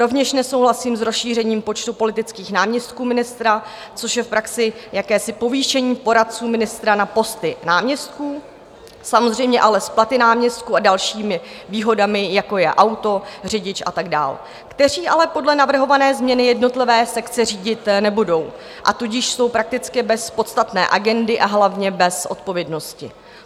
Rovněž nesouhlasím s rozšířením počtu politických náměstků ministra, což je v praxi jakési povýšení poradců ministra na posty náměstků, samozřejmě ale s platy náměstků a dalšími výhodami, jako je auto, řidič a tak dál, kteří ale podle navrhované změny jednotlivé sekce řídit nebudou, a tudíž jsou prakticky bez podstatné agendy, a hlavně bez odpovědnosti.